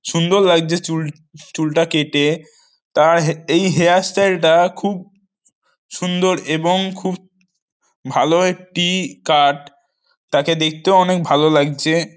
সুন্দর লাগছে চুল চুলটা কেটে তার হে এই হেয়ারস্টাইল -টা খুব উ সুন্দর এবং খুব ভালো একটি কাট তাকে দেখতেও অনেক ভালো লাগছে।